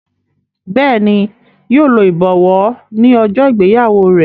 Béèni yíò ló ibọwọ ní ojó ìgbéyàwó rẹ.